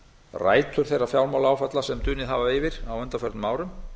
rætur þeirra fjármálaáfalla sem dunið hafa yfir á undanförnum árum